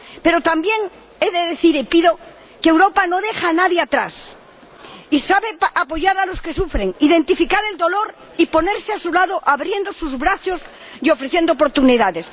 Pero también he de decir y pido que Europa no deje a nadie atrás y sepa apoyar a los que sufren, identificar el dolor y ponerse a su lado, abriendo sus brazos y ofreciendo oportunidades.